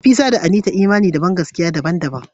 Nafisa da Anita imani da bangaskiya daban-daban.